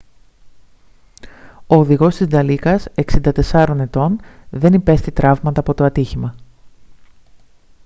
ο οδηγός της νταλίκας 64 ετών δεν υπέστη τραύματα από το ατύχημα